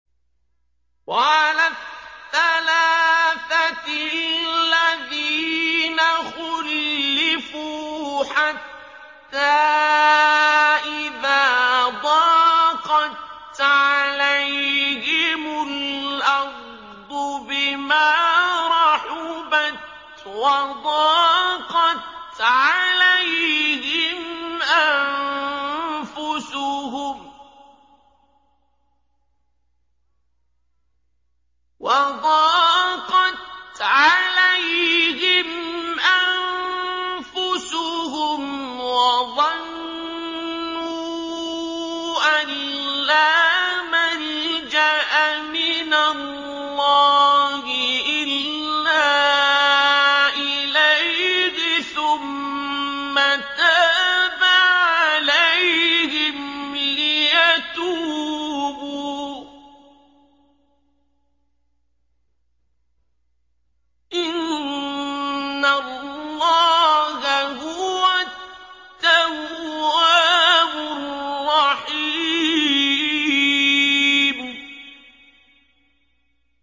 وَعَلَى الثَّلَاثَةِ الَّذِينَ خُلِّفُوا حَتَّىٰ إِذَا ضَاقَتْ عَلَيْهِمُ الْأَرْضُ بِمَا رَحُبَتْ وَضَاقَتْ عَلَيْهِمْ أَنفُسُهُمْ وَظَنُّوا أَن لَّا مَلْجَأَ مِنَ اللَّهِ إِلَّا إِلَيْهِ ثُمَّ تَابَ عَلَيْهِمْ لِيَتُوبُوا ۚ إِنَّ اللَّهَ هُوَ التَّوَّابُ الرَّحِيمُ